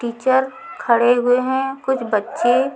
teacher खड़े हुए हैं कुछ बच्चे--